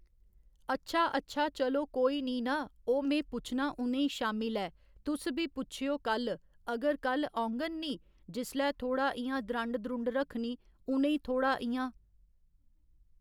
अच्छा अच्छा चलो कोई निं ना ओह् में पुच्छना उ'नें ई शामीं लै तुस बी पुच्छेओ कल्ल अगर कल्ल औङन निं जिसलै थोह्ड़ा इ'यां द्रंड द्रुंड रक्खनी उ'नें ई थोह्ड़ा इ'यां।